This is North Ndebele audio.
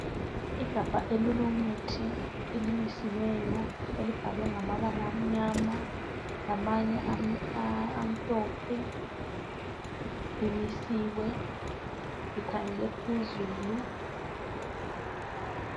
Igabha elilomuthi elimisiweyo elibhalwe ngamabala amnyama lamanye amhlophe limisiwe likhangele phezulu.